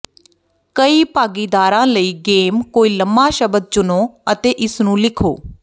ਕਈ ਭਾਗੀਦਾਰਾਂ ਲਈ ਗੇਮ ਕੋਈ ਲੰਬਾ ਸ਼ਬਦ ਚੁਣੋ ਅਤੇ ਇਸਨੂੰ ਲਿਖੋ